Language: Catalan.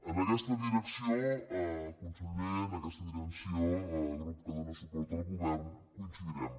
en aquesta direcció conseller el grup que dóna suport al govern coincidirem